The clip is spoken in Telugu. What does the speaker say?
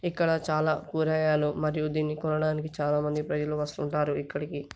ఇక్కడ చాలా కూరగాయలు మరియు దీన్ని కొనడానికి చాలామంది ప్రజలు వస్తూ ఉంటారు ఇక్కడికి.